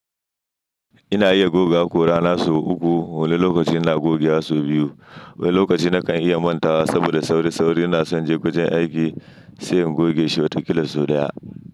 Ina iya goga haƙora nasa uku. Wani lokaci ina gogewa su biyu. Wani lokaci na kan iya manta wa saboda sauri-sauri. Ina son je wajen aiki sai in goge shi watakila sau ɗaya.